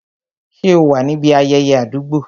Ṣé o wà níbi ayẹyẹ àdúgbò?